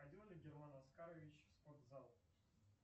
ходил ли герман оскарович в спортзал